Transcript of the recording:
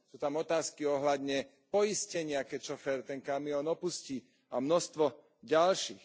Sú tam otázky ohľadne poistenia, keď šofér ten kamión opustí, a množstvo ďalších.